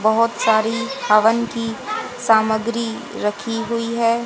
बहोत सारी हवन की सामग्री रखी हुई है।